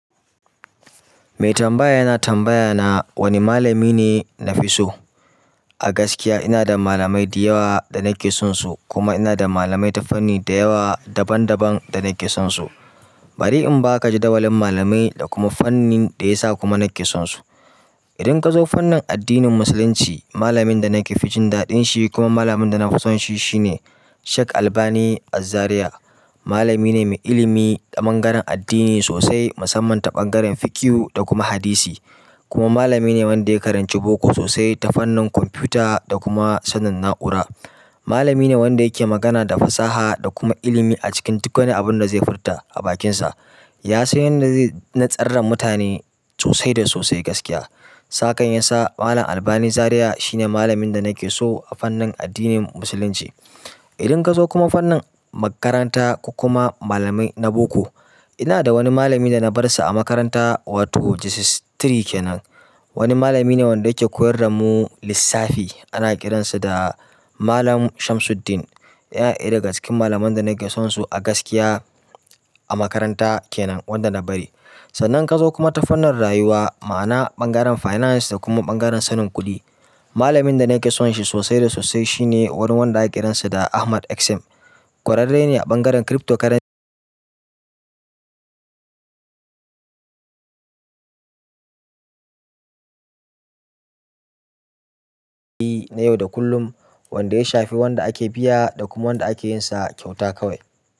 Mai tambaya yana tambaya na wane malami ne na fi so. A gaskiya ina da malamai da yawa da nake son su kuma ina da malamai ta fanni da yawa daban daban da nake son su. Bari in baka jadawalin malamai da kuma fannin da ya sa kuma nake son su. Idan ka zo fannin addinin Musulunci, malamin da nake fijin daɗin shi kuma malamin da nafi son shi shine Sheikh Albani Az-Zaria. Malami ne mai ilimi ta ɓangaren addini sosai musamman ta ɓangaren fiqhu da kuma hadisi. Kuma malami ne wanda ya karanci boko sosai ta fannin kwamfuta da kuma sanin na'ura. Malami ne wanda yake magana da fasaha da kuma ilimi a cikin duk wani abun da zai furta a bakinsa. Ya san yadda zai na tsar mutane sosai da sosai gaskiya. Sa kan ya sa Malam Albani Zaria shine malamin da nake so a fannin addinin Musulunci. Idan ka zo kuma fannin makaranta kuma malamai na boko, ina da wani malami da na bar sa a makaranta wato JSS uku kenan. Wani malami ne wanda yake koyar da mu lissafi. Ana kiransa da malam shamsuddin ƴa ɗaya daga cikin malamai da nake son su a gaskiya a makaranta kenan wanda na bari. Sannan kazo ta fannin rayuwa ma'ana ɓangaren finance da kuma ɓangaren sanin kuɗi malamin da nake sonshi sosai da sosai shine wani wanda ake kiransa da Ahmad xm kwararrene ɓangaren crypto currency na yau da kullum wanda ya shafe wanda ake biya da kuma wanda ake yin sa kyauta kawai.